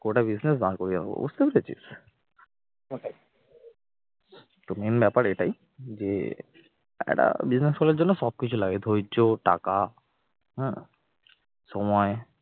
কটা business বার করে দেবো বুঝতে পেরেছিস তো main ব্যাপার এটাই যে একটা business খোলার জন্য সব কিছু লাগে ধৈর্য টাকা হ্যাঁ সময়